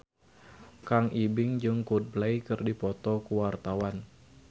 Kang Ibing jeung Coldplay keur dipoto ku wartawan